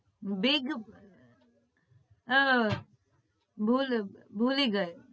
Big આહ ભૂલ ભૂલી ગઈ